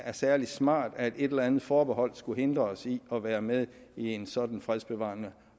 er særlig smart at et eller andet forbehold skulle hindre os i at være med i en sådan fredsbevarende